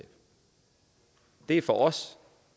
det er for os